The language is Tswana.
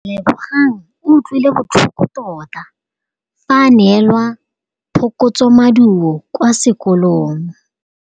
Lebogang o utlwile botlhoko tota fa a neelwa phokotsômaduô kwa sekolong.